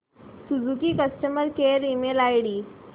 Suzuki customer care email ID